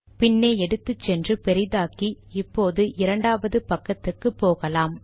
பின்னே எடுத்துச்சென்று பெரிதாக்கி இப்போது இரண்டாவது பக்கத்துக்கு போகலாம்